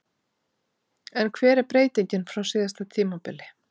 En hver er breytingin frá síðasta tímabili?